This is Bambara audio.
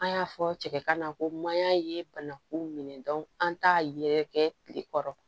An y'a fɔ cɛ kana ko mayan ye banakun minɛ an t'a yɛrɛkɛ tile kɔrɔ